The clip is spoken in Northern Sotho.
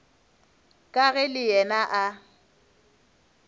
ka ge le yena a